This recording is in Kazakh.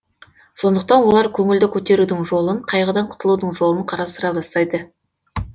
сондықтан олар көңілді көтерудің жолын қайғыдан құтылудың жолын қарастыра бастайды